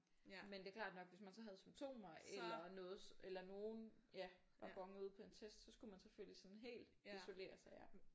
Men det klart nok hvis man så havde symptomer eller noget eller nogen ja der bonede ud på en test så skulle man selvfølgeligsådan helt isoleres